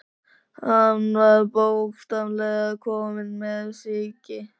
Hann var bókstaflega kominn með sýki.